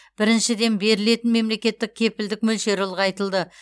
біріншіден берілетін мемлекеттік кепілдік мөлшері ұлғайтылды